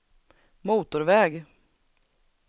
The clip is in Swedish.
motorväg